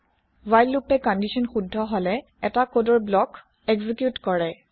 while loop condition শুদ্ধ হলে এটা কদৰ ব্লক এক্জি্ক্যুত কৰে